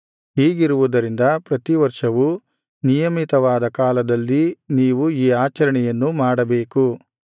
ಹೀಗಿರುವುದರಿಂದ ಪ್ರತಿವರ್ಷವು ನಿಯಮಿತವಾದ ಕಾಲದಲ್ಲಿ ನೀವು ಈ ಆಚರಣೆಯನ್ನು ಮಾಡಬೇಕು